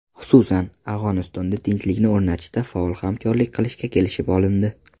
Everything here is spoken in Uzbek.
Xususan, Afg‘onistonda tinchlikni o‘rnatishda faol hamkorlik qilishga kelishib olindi.